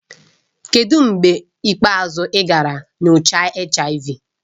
Kedu mgbe ikpeazụ ị gara nyocha HIV?